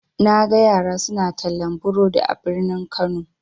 Naga yara suna tallan burodi a birni kano.